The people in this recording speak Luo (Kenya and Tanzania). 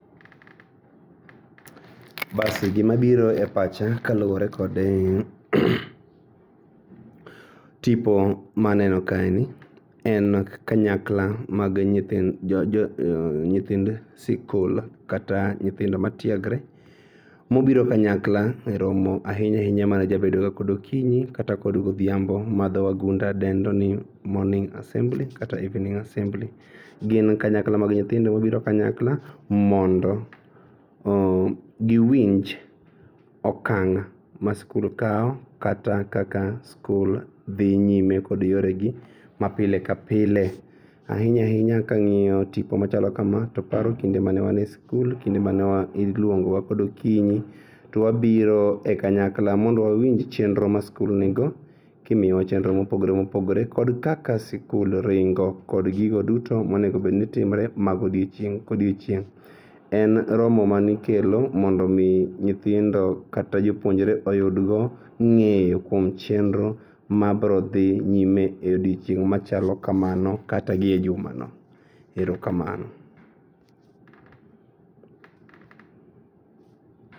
Basi gimabiro e pacha kaluore kod tipo maneno kaeni en kanyakla mag nyithind joo nyithind sikul kata nyithindo matiegre mobiro kanyakla e romo ainyainya majabedoga kod okinyi kata kod godhiambo ma dho wagunda dendoni morning assembly kata evening assembly. Gin kanyakla mag nyithindo mabiro kanyakla mondo giwinj okang' ma skul kao kata kaka skul dhi nyime kod yoregi ma pile kapile. Ainya ainya kang'iyo tipo machalo kama to paro kinde mane wane skul, kinde mane iluongowa kod okinyi to wabiro e kanyakla mondo wawinj chenro ma skul nigo kimiyowa chenro mopogre opogore kod kaka skul ringo kod gigo duto monegobed ni timre ma godiocheng' kodiochieng'.En romo manikelo mondo omii nyithindo kata jopuonjre oyudgo ng'eyo kuom chenro mabrodhi nyime e odiochieng' machalo kamano kata gi e jumano. Erokamano.